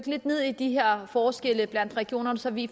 lidt ned i de her forskelle i regionerne så vi